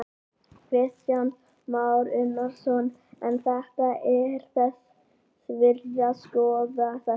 Kristján Már Unnarsson: En þetta er þess virði að skoða þetta?